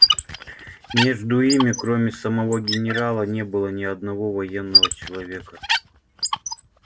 между ими кроме самого генерала не было ни одного военного человека